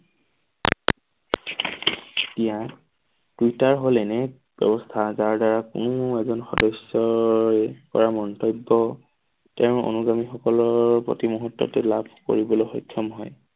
এতিয়া টুইটাৰ হল এনে এক ব্যৱস্থা যাৰ দ্বাৰা কোনো এজন সদস্যৰ পৰা মন্তব্য তেওঁৰ অনুগামী সকলোৰ প্ৰতি মুহূৰ্ততে লাভ কৰিবলৈ সক্ষম হয়।